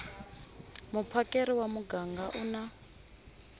muphakeri wa muganga u na